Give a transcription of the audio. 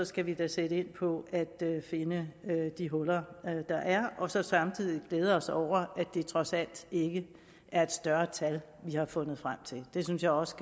skal vi da sætte ind på at finde de huller der er og så samtidig glæde os over at det trods alt ikke er et større tal vi har fundet frem til det synes jeg også